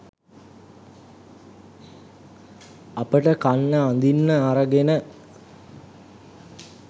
අපට කන්න අඳින්න අරගෙන